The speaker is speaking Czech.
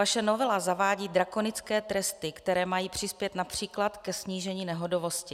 Vaše novela zavádí drakonické tresty, které mají přispět například ke snížení nehodovosti.